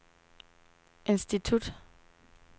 institut